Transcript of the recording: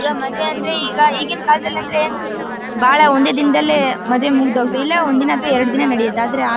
ಇವಾಗ್ ಮಾಡುವೆ ಅಂದ್ರೆ ಈಗ ಈಗಿನ ಕಾಲದಲ್ಲಿ ಅಂದ್ರೆ ಬಹಳ ಒಂದೇ ದಿನದಲ್ಲೇ ಮದುವೆ ಮುಗ್ದು ಹೋಗುತ್ತೆ ಇಲ್ಲ ಒಂದು ದಿನ ಅಥವಾ ಎರಡು ದಿನ ನಡೆಯುತ್ತೆ ಆದ್ರೆ ಆ--